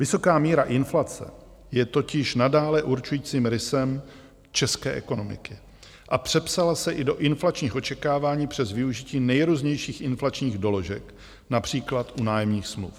Vysoká míra inflace je totiž nadále určujícím rysem české ekonomiky a přepsala se i do inflačních očekávání přes využití nejrůznějších inflačních doložek, například u nájemních smluv.